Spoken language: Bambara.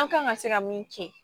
An kan ka se ka min kɛ